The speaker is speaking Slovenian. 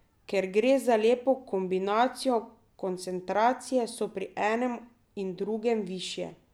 Ker gre za lepo kombinacijo, koncentracije so pri enem in drugem višje.